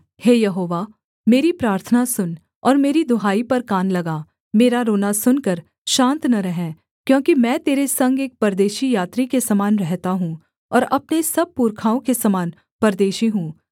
हे यहोवा मेरी प्रार्थना सुन और मेरी दुहाई पर कान लगा मेरा रोना सुनकर शान्त न रह क्योंकि मैं तेरे संग एक परदेशी यात्री के समान रहता हूँ और अपने सब पुरखाओं के समान परदेशी हूँ